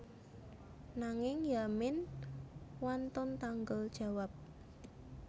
Nanging Yamin wantun tanggel jawab